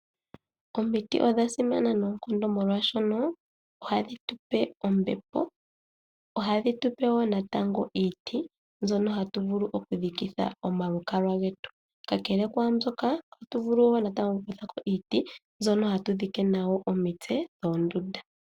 Omiti odha simana noonkondo molwaashono ohadhi tupe ombepo, oha dhi tupe woo natango iiti mbyono hatu vulu oku dhikitha omalukalwa getu. Kakele kwaambyoka, ohatu vulu woo natango oku kutha ko iiti mbyono hatu dhike nayo omitse dhoondunda.